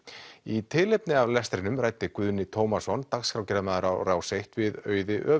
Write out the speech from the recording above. í tilefni af lestrinum ræddi Guðni Tómasson dagskrárgerðarmaður á Rás eitt við Auði